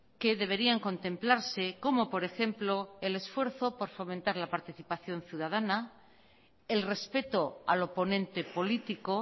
que deberían contemplarse como por ejemplo el esfuerzo por fomentar la participación ciudadana el respeto al oponente político